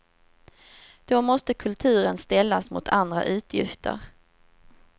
Då måste kulturen ställas mot andra utgifter.